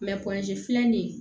filɛ nin